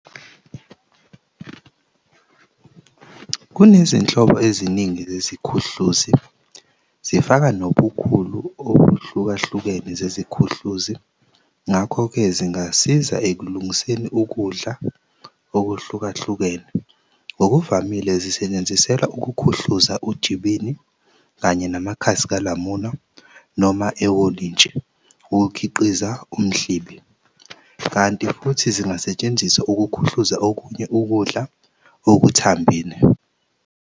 Kunezinhlobo ezining zeziKhuhluzi zifaka nobukhulu obahlukahlukene zeziKhuhluzi, ngakho-ke zingasiza ekulungiseni ukudla okuhlukahlukene. Ngokuvamile zisetshenziselwa ukukhuhluza uJibini kanye namakhasi kaLamula noma eWolintshi, ukukhiqiza uMhlibi, kanti futhi zingasetshenziswa ukuKhuhluza okunye ukudla okuthambile.